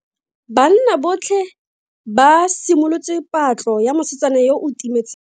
Banna botlhe ba simolotse patlo ya mosetsana yo o timetseng.